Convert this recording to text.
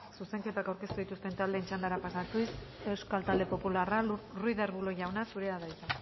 zuzenketa aurkeztu dituzten taldeen txandara pasatuz euskal talde popularra ruiz de arbulo jauna zurea da hitza